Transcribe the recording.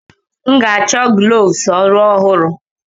M ga-achọ gloves ọrụ ọhụrụ.